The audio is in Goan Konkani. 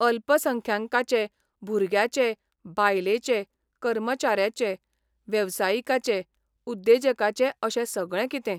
अल्पसंख्यांकांचे, भुरग्याचे, बायलेचे, कर्मचाऱ्याचे, वेवसायिकाचे उद्येजकाचे अशे सगळे कितें.